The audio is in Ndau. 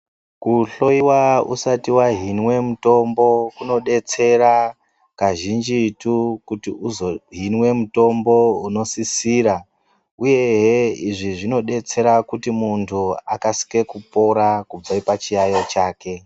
Kuhloyiwa usati wahinwa mutombo kunodetsera kazhinjitu kuti uzohinwa mutombo unosisira uyezve izvi zvinodetsera kuti munthu akasike kupora pachiyaeyo chake.